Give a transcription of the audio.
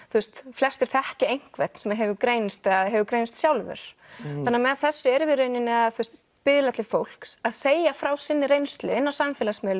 flestir þekkja einhvern sem hefur greinst eða hefur greinst sjálfur þannig að með þessu erum við í rauninni að biðla til fólks að segja frá sinni reynslu inni á samfélagsmiðlum